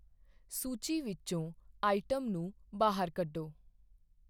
ਸੂਚੀ ਵਿੱਚੋਂ ਆਈਟਮ ਨੂੰ ਬਾਹਰ ਕੱਢੋ